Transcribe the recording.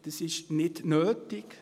Das ist nicht nötig.